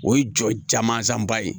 O ye jɔmansanba ye